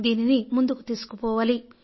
దీనిని ముందుకు తీసుకుపోవాలి